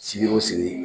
Sigi o sigi